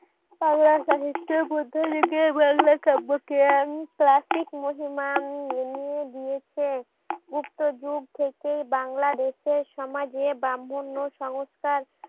দিয়েছে গুপ্ত যুগ থেকেই বাংলাদেশে সমাজে ব্রাম্মন্ন সংস্কার